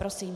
Prosím.